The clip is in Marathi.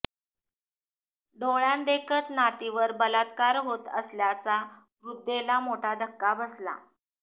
डोळ्यांदेखत नातींवर बलात्कार होत असल्याचा वृद्धेला मोठा धक्का बसला